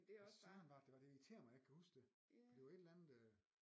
Hvad søren var det det var det irriterer mig at jeg ikke kan huske det for det var et eller andet øh